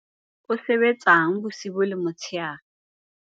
o sebetsang bosiu le motshehare wa